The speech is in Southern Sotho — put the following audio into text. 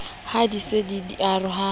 ha di se di oroha